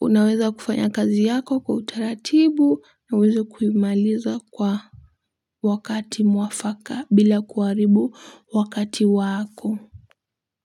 Unaweza kufanya kazi yako kwa utaratibu na uweze kuimaliza kwa wakati mwafaka bila kuharibu wakati wako.